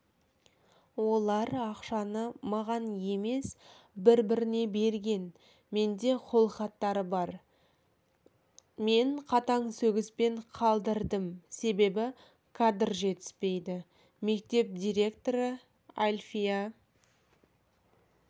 олар ақшаны маған емес бір біріне берген менде қол хаттары бар мен қатаң сөгіспен қалдырдым себебі кадр жетіспейді мектеп директоры әлфия